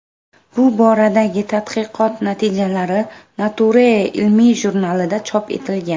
Bu boradagi tadqiqot natijalari Nature ilmiy jurnalida chop etilgan .